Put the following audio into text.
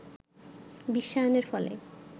বিশ্বায়নের ফলে